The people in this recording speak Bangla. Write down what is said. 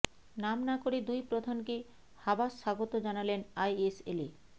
নাম না করে দুই প্রধানকে হাবাস স্বাগত জানালেন আইএসএলে